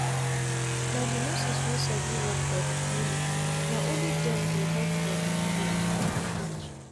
na the nurses wey sabi work for the clinicna only dem dey help for the village. the village.